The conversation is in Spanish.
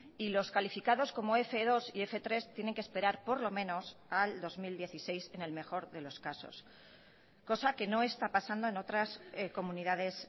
y los calificados como f dos y f tres tienen que esperar por lo menos al dos mil dieciséis en el mejor de los casos cosa que no está pasando en otras comunidades